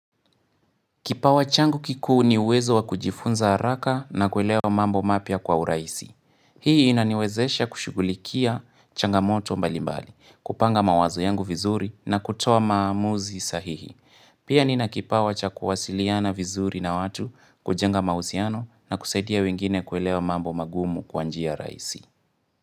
Kipawa changu kiku ni uwezo wa kujifunza haraka na kuelewa mambo mapia kwa uraisi. Hii inaniwezesha kushugulikia changamoto mbalimbali, kupanga mawazo yangu vizuri na kutoa maamuzi sahihi. Pia ni na kipawa cha kuwasiliana vizuri na watu kujenga mahusiano na kusaidia wengine kuelewa mambo magumu kwanjia raisi.